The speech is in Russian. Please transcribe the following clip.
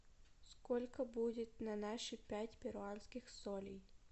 сколько будет на наши пять перуанских солей